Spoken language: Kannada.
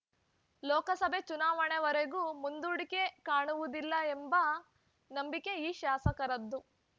ಲೋಕಸಭೆ ಚುನಾವಣೆವರೆಗೂ ಮುಂದೂಡಿಕೆ ಕಾಣುವುದಿಲ್ಲ ಎಂಬ ನಂಬಿಕೆ ಈ ಶಾಸಕರದ್ದು